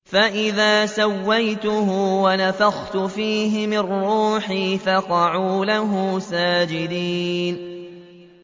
فَإِذَا سَوَّيْتُهُ وَنَفَخْتُ فِيهِ مِن رُّوحِي فَقَعُوا لَهُ سَاجِدِينَ